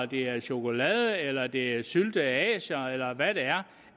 det er chokolade eller det er syltede asier eller hvad det er